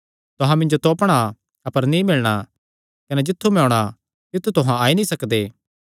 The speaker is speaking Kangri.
तुहां मिन्जो तोपणा अपर नीं मिलणा कने जित्थु मैं होणा तित्थु तुहां नीं आई सकदे